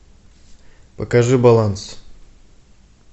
покажи баланс